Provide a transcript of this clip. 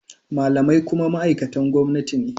Malamai kuma ma’aikatan gwamnati ne.